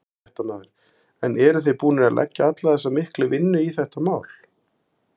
Fréttamaður: En þið eruð búnir að leggja alla þessa miklu vinnu í þetta mál?